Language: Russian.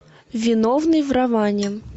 виновный в романе